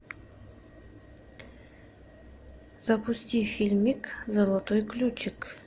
запусти фильмик золотой ключик